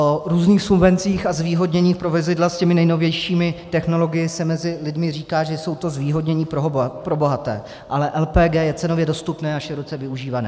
O různých subvencích a zvýhodnění pro vozidla s těmi nejnovějšími technologiemi se mezi lidmi říká, že jsou to zvýhodnění pro bohaté, ale LPG je cenově dostupné a široce využívané.